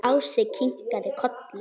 Ási kinkaði kolli.